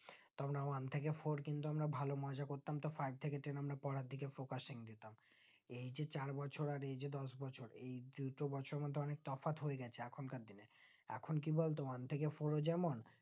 one থেকে four কিন্তু আমরা ভালো মজা করতাম তো five থেকে ten আমরা পোড়ারদিকে focusing দিতাম এই যে চার বছর আর এই যে দশ বছর এই উট জিনিসের মধ্যে অনিক তফাৎ হয়েগেছে এখন কার দিনে এখন কি বলতো one থেকে four ও যেমন